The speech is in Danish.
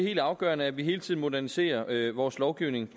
helt afgørende at vi hele tiden moderniserer vores lovgivning